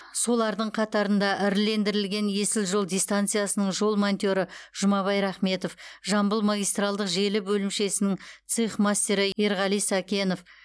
солардың қатарында ірілендірілген есіл жол дистанциясының жол монтері жұмабай рахметов жамбыл магистралдық желі бөлімшесінің цех мастері ерғали сәкенов